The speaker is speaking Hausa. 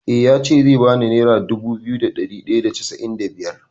Eh ya ce zai bani nera dubu biyu da ɗari ɗaya da casa’in da biyar.